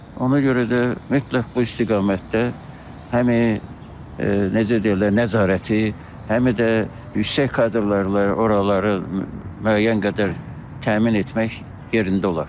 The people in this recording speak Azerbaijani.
Ona görə də mütləq bu istiqamətdə həm necə deyərlər, nəzarəti, həm də yüksək kadrlarla oraları müəyyən qədər təmin etmək yerində olar.